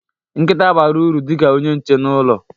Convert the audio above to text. Nkita bara uru dị ka onye nche n'ụlọ.